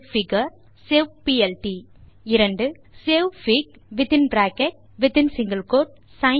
saveplot savefig savefigure saveplt 2